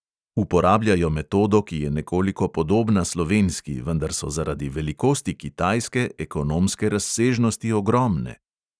Uporabljajo metodo, ki je nekoliko podobna slovenski, vendar so zaradi velikosti kitajske ekonomske razsežnosti ogromne.